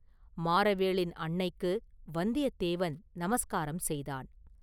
மாறவேளின் அன்னைக்கு வந்தியத்தேவன் நமஸ்காரம் செய்தான்.